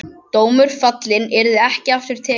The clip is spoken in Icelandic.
Dómur fallinn, yrði ekki aftur tekinn.